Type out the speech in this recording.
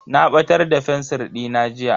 Na batar da fensir dina jiya.